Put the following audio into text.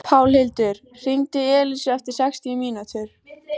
Pálhildur, hringdu í Elísu eftir sextíu mínútur.